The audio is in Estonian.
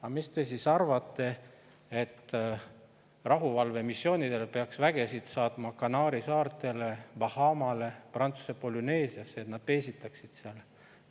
Aga mis te siis arvate, et rahuvalvemissioonidel peaks vägesid saatma Kanaari saartele, Bahamale või Prantsuse Polüneesiasse, et nad peesitaksid seal?